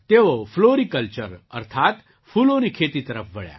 તેઓ ફ્લૉરીકલ્ચર અર્થાત્ ફૂલોની ખેતી તરફ વળ્યા